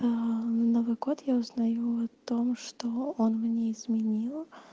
а на новый год я узнаю о том что он мне изменил